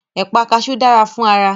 Ẹ̀pà kaṣú dára fún ara